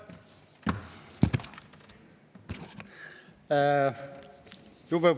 Aitäh!